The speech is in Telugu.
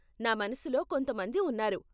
నా మనసులో కొంత మంది ఉన్నారు.